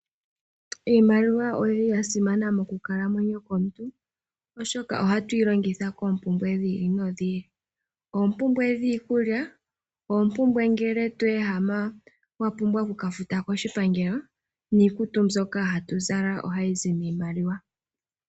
Iimaliwa oyili ya simana mokukalamwenyo kwomuntu oshoka ohatu yi longitha koompumbwe dhi ili nodhi ili. Oompumbwe dhiikulya, oompumbwe ngele to ehama wa pumbwa oku ka futa koshipangelo niikutu mbyoka hatu zala ohayi zi miimaliwa.